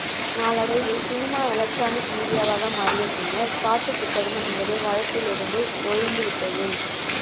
நாளடைவில் cinema electronic மீடியாவாக மாறிய பின்னர் பாட்டுப் புத்தகம் என்பது வழக்கிலிருந்து ஒழிந்து விட்டது